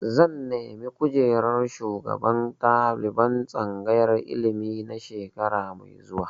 Zan nemi kujerar shugaban ɗaliban tsangayar ilimi na shekara mai zuwa.